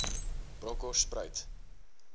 bronkoorspruit